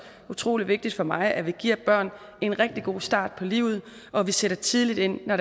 utrolig vigtigt for mig at vi giver børn en rigtig god start på livet og at vi sætter tidligt ind når